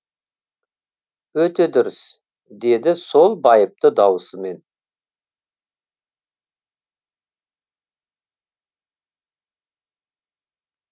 өте дұрыс деді сол байыпты дауысымен